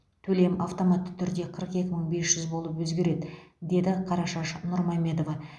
төлем автоматты түрде қырық екі мың бес жүз болып өзгереді деді қарашаш нұрмамедова